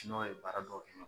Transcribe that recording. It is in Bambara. N'ɔ ye baara dɔw kɛ ɲɔ